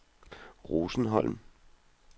Rosenholm